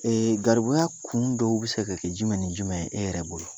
garibuya kun dɔw bɛ se ka kɛ jumɛn ni jumɛn ye e yɛrɛ bolo